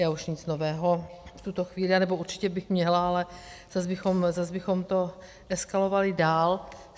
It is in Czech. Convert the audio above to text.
Já už nic nového v tuto chvíli... anebo určitě bych měla, ale zas bychom to eskalovali dál.